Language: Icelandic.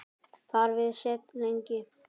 Þar við sat lengi.